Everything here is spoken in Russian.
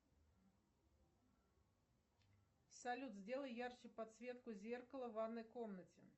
салют сделай ярче подсветку зеркала в ванной комнате